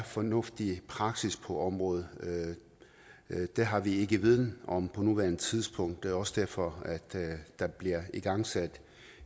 fornuftig praksis på området det har vi ikke viden om på nuværende tidspunkt og også derfor at der bliver igangsat